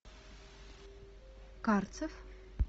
карцев